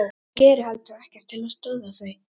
Hún gerir heldur ekkert til að stöðva þau.